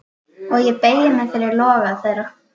Og ég beygi mig fyrir loga þeirra.